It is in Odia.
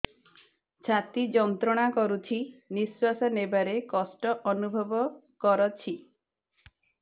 ଛାତି ଯନ୍ତ୍ରଣା କରୁଛି ନିଶ୍ୱାସ ନେବାରେ କଷ୍ଟ ଅନୁଭବ କରୁଛି